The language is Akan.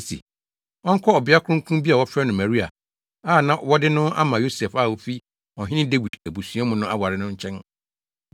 se, ɔnkɔ ɔbea kronkron bi a wɔfrɛ no Maria a na wɔde no ama Yosef a ofi Ɔhene Dawid abusua mu no aware no nkyɛn.